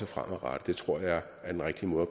fremadrettet er er den rigtige måde at